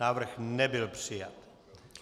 Návrh nebyl přijat.